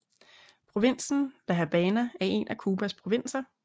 Provinsen La Habana er en af Cubas provinser